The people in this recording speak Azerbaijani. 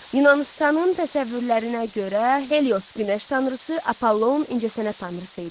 Yunanıstanın təsəvvürlərinə görə Helios günəş tanrısı, Apollon incəsənət tanrısı idi.